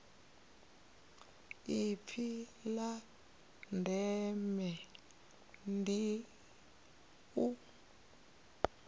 ipfi la ndeme ndi u